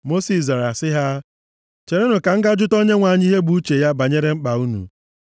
Mosis zara sị ha, “Cherenụ ka m ga jụta Onyenwe anyị ihe bụ uche ya banyere mkpa unu.”